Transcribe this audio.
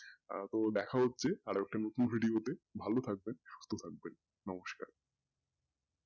আহ তো দেখা হচ্ছে আবার একটি নতুন video তে ভালো থাকবেন সুস্থ থাকবেন নমস্কার।